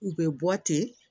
U bɛ bɔ ten